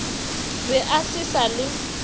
be a se sa le